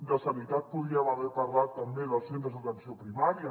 de sanitat podríem haver parlat també dels centres d’atenció primària